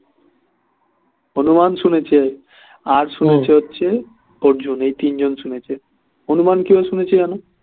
হনূমান শুনেছে আর শুনেছে হচ্ছে আর অর্জুন এই তিনজন শুনেছে হনূমান কিভাবে শুনেছে জানো